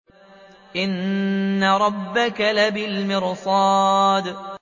إِنَّ رَبَّكَ لَبِالْمِرْصَادِ